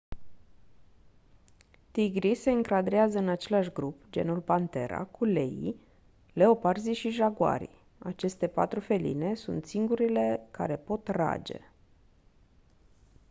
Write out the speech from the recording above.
tigrii se încadrează în același grup genul panthera cu leii leoparzii și jaguarii. aceste patru feline sunt singurele care pot rage